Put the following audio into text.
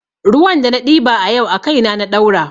Ruwan da na ɗiba a yau a kaina na ɗaura